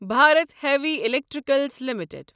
Bharat heavy electrical limited